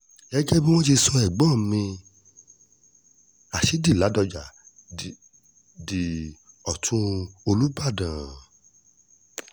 gẹ́gẹ́ bi wọn ṣe sọ ẹ̀gbọ́n mi rashidi ládọ́jà d di ọ̀tún olùbàdàn